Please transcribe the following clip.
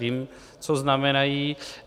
Vím, co znamenají.